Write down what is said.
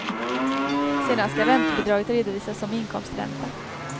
Sedan skall räntebidraget redovisas som inkomstränta.